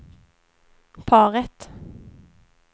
paret